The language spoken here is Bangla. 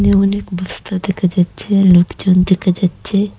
অনেক বস্তা দেখা যাচ্ছে লোকজন দেখা যাচ্ছে।